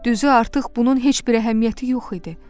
Düzü artıq bunun heç bir əhəmiyyəti yox idi.